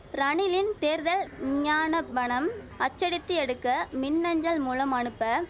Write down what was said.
ரணிலின் தேர்தல் விஞ்ஞானபனம் அச்சடித்து எடுக்க மின் அஞ்சல் மூலம் அனுப்ப